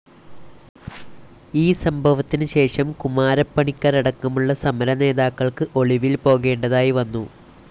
ഈ സംഭവത്തിന് ശേഷം കുമാരപ്പണിക്കരടക്കമുള്ള സമര നേതാക്കൾക്ക് ഒളിവിൽ പോകേണ്ടതായി വന്നു.